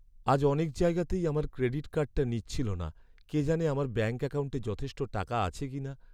আজ অনেক জায়গাতেই আমার ক্রেডিট কার্ডটা নিচ্ছিল না। কে জানে আমার ব্যাঙ্ক অ্যাকাউন্টে যথেষ্ট টাকা আছে কিনা।